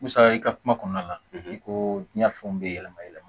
Musa i ka kuma kɔnɔna la i ko diɲɛ fɛnw bɛ yɛlɛma yɛlɛma